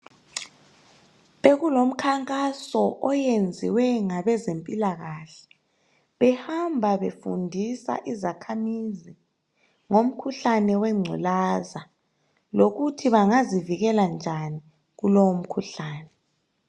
Bekulomkhankaso oyenziwe ngabezempilakahle, behamba befundisa izakhamizi ngomkhuhlane wengculaza lokuthi bangazivikela njani kulowo mkhuhlane.